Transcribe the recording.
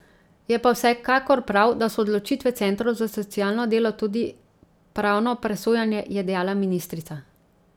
Je pa vsekakor prav, da so odločitve centrov za socialno delo tudi pravno presojane, je dejala ministrica.